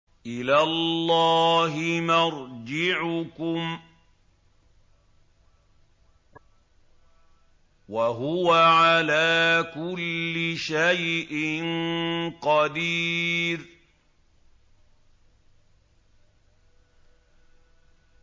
إِلَى اللَّهِ مَرْجِعُكُمْ ۖ وَهُوَ عَلَىٰ كُلِّ شَيْءٍ قَدِيرٌ